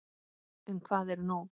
En hvað er nú?